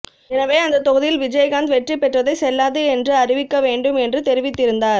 எனவே அந்த தொகுதியில் விஜயகாந்த் வெற்றி பெற்றதை செல்லாது என்று அறிவிக்க வேண்டும் என்று தெரிவித்திருந்தார்